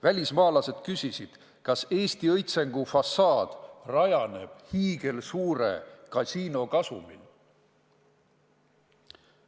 Välismaalased küsisid, kas Eesti õitsengu fassaad rajaneb hiigelsuure kasiino kasumil.